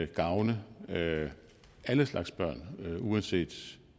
gavne alle slags børn uanset